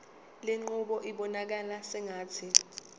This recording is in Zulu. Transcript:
lenqubo ibonakala sengathi